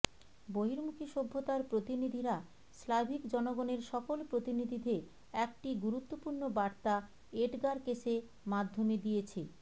বহির্মুখী সভ্যতার প্রতিনিধিরা স্লাভিক জনগণের সকল প্রতিনিধিদের একটি গুরুত্বপূর্ণ বার্তা এডগার কেসে মাধ্যমে দিয়েছে